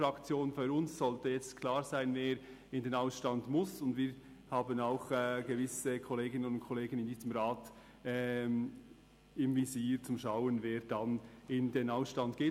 Für uns sollte jetzt klar sein, wer in den Ausstand muss, und wir haben auch gewisse Kolleginnen und Kollegen in diesem Rat im Visier, um zu schauen, wer dann in den Ausstand geht.